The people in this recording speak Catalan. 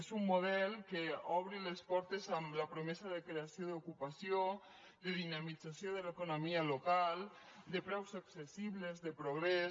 és un model que obre les portes amb la promesa de creació d’ocupació de dinamització de l’economia local de preus accessibles de progrés